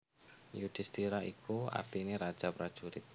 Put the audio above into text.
Yudhistira iku artine raja prajurit